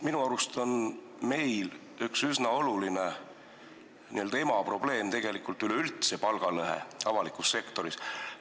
Minu arust on meil üks üsna oluline n-ö emaprobleem tegelikult üleüldse palgalõhe avalikus sektoris.